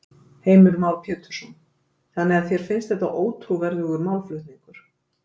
Heimir Már Pétursson: Þannig að þér finnst þetta ótrúverðugur málflutningur?